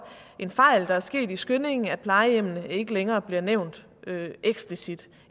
en fejl der er sket i skyndingen at plejehjemmene ikke længere bliver nævnt eksplicit